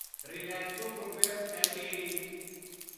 Relaxo footwears LTD